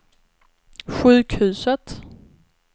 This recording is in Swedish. sjukhuset